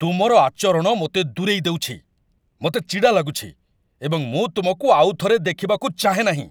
ତୁମର ଆଚରଣ ମୋତେ ଦୂରେଇ ଦେଉଛି। ମୋତେ ଚିଡ଼ା ଲାଗୁଛି, ଏବଂ ମୁଁ ତୁମକୁ ଆଉଥରେ ଦେଖିବାକୁ ଚାହେଁ ନାହିଁ!